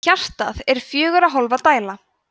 hjartað er fjögurra hólfa dæla